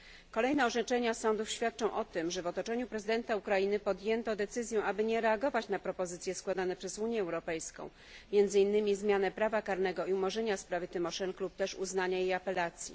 Kolejne orzeczenia sądów świadczą o tym, że w otoczeniu prezydenta Ukrainy podjęto decyzję, aby nie reagować na propozycje składane przez Unię Europejską, między innymi zmiany prawa karnego i umorzenia sprawy Tymoszenko lub też uznania jej apelacji.